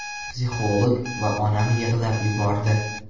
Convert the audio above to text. Psixolog va onam yig‘lab yubordi.